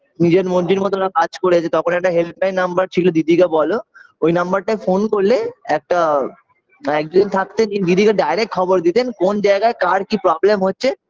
নিজের মর্জি মতন ওরা কাজ করেছে তখন একটা helpline number ছিল দিদিকে বলো ওই number টায় phone করলে একটা একজন থাকতেন দিদিকে direct খবর দিতেন কোন জায়গায় কার কি problem হচ্ছে